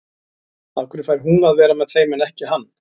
Af hverju fær hún að vera með þeim en ekki hann?